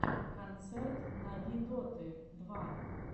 концерт нави доты два